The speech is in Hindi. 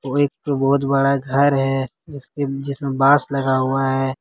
वो एक ठो बहुत बड़ा घर है जिसमें जिसमें बास लगा हुआ है।